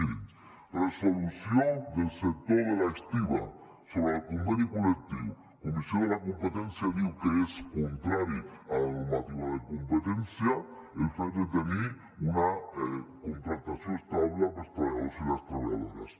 mirin resolució del sector de l’estiba sobre el conveni col·lectiu la comissió de la competència diu que és contrari a la normativa de competència el fet de tenir una contractació estable per als treballadors i les treballadores